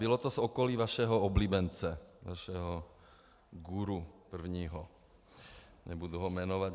Bylo to z okolí vašeho oblíbence, vašeho guru, prvního, nebudu ho jmenovat.